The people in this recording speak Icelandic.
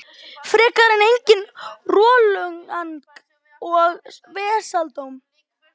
Frekar en eigin rolugang og vesaldóm.